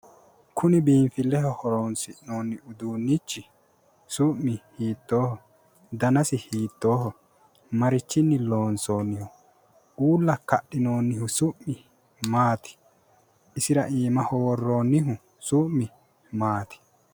Kuni biinfilleho horonsi'noonni uduunnichi su'mi hiittooho? danasi hiittooho? marichinni loonsooyiiho? uulla kadhinoonnihu su'mi maati? isira iimaho worroonnihu su'mi maati?